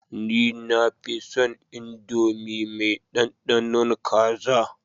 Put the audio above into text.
Ni nafinson indomie me dandanon kaza